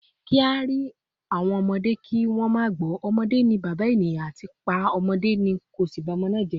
“Ki a ri awon omode ki won ma gbo,” “Omode ni baba eniyan,” ati “Pa opa da ki o si ba omo naa je.